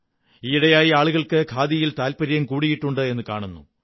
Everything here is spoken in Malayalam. ഈയിടെയായി ആളുകള്ക്ക് ഖാദിയിൽ താത്പര്യം കൂടിയിട്ടുണ്ടെന്ന് കാണുന്നു